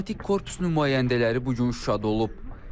Diplomatik korpus nümayəndələri bu gün Şuşada olub.